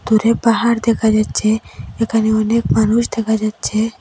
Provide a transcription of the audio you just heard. দূরে পাহাড় দেখা যাচ্চে এখানে অনেক মানুষ দেখা যাচ্চে।